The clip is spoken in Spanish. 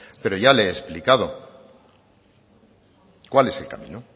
pero ya le he explicado cuál es el camino